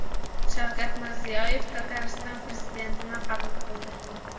Shavkat Mirziyoyev Tatariston prezidentini qabul qildi .